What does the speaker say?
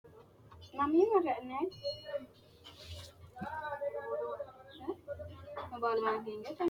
knuni maa leellishanno ? danano maati ? badheenni noori hiitto kuulaati ? mayi horo afirino ? tini lekkate wodhinanniti koate maayiniteikka